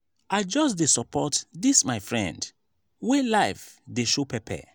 i just dey support dis my friend wey life dey show pepper.